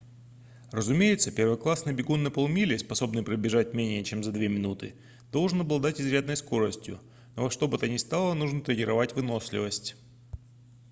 разумеется первоклассный бегун на полмили способный пробежать менее чем за две минуты должен обладать изрядной скоростью но во что бы то ни стало нужно тренировать выносливость